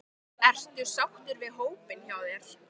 Ertu sáttur við hópinn hjá þér?